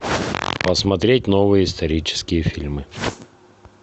посмотреть новые исторические фильмы